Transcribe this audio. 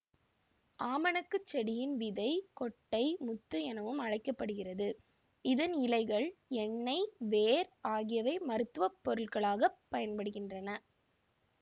ஆமணக்கு செடியின் விதை கொட்டை முத்து எனவும் அழைக்கப்ப்படுகிறது இதன் இலைகள் எண்ணெய் வேர் ஆகியவை மருத்துவ பொருளாக பயன்படுகின்றன